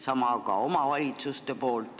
Sama teevad ka omavalitsused.